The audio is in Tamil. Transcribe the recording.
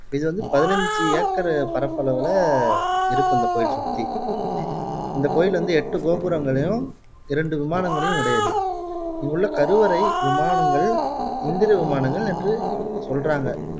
இது வந்து பதினைஞ்சு ஏக்கர் பரப்பளவுல இருக்கும் இந்த கோயில் சுத்தி இந்த கோயில் வந்து எட்டு கோபுரங்களையும் இரண்டு விமானங்களையும் உடையது இங்குள்ள கருவறை விமானங்கள் இந்திர விமானங்களென்று சொல்றாங்க